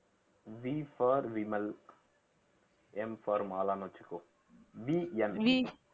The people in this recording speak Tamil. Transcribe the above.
Vfor விமல் Mfor மாலான்னு வச்சுக்கோ